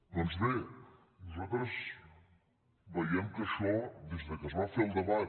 doncs bé nosaltres veiem que això des que es va fer el debat